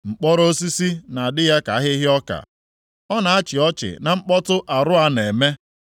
Mkpọrọ osisi na-adị ya ka ahịhịa ọka, ọ na-achị ọchị na mkpọtụ arụa na-eme.